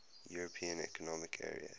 european economic area